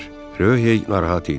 Röhey narahat idi.